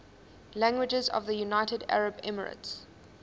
languages of the united arab emirates